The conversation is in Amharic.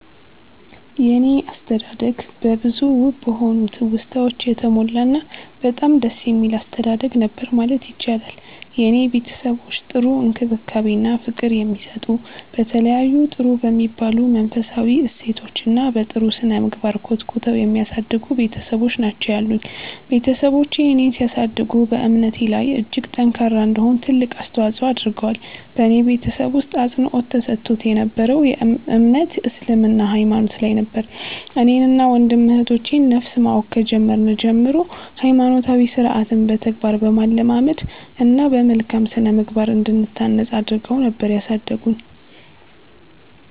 የኔ አስተዳደግ በብዙ ውብ በሆኑ ትውስታወች የተሞላ እና በጣም ደስ የሚል አስተዳደግ ነበር ማለት ይቻላል። የኔ ቤተሰቦች ጥሩ እንክብካቤ እና ፍቅር የሚሰጡ፤ በተለያዩ ጥሩ በሚባሉ መንፈሳዊ እሴቶች እና በ ጥሩ ስነምግባር ኮትኩተው የሚያሳድጉ ቤትሰቦች ናቸው ያሉኝ። ቤትሰቦቼ እኔን ሲያሳድጉ በእምነቴ ላይ እጅግ ጠንካራ እንድሆን ትልቅ አስተዋፆ አድርገዋል። በኔ ቤተሰብ ውስጥ አፅንዖት ተሰጥቶት የ ነበረው እምነት እስልምና ሃይማኖት ላይ ነበር። እኔን እና ወንድም እህቶቼ ን ነፍስ ማወቅ ከጀመርን ጀምሮ ሃይማኖታዊ ስርዓትን በተግባር በማለማመድ እና በመልካም ስነምግባር እንድንታነፅ አድረገው ነበር ያሳደጉን።